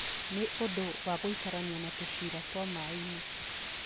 Nĩ ũndũ wa gũikarania na tũcĩra twa maaĩ-inĩ,